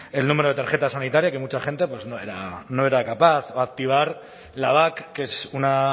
el número de tarjeta sanitaria que mucha gente no era capaz o activar la bak que es una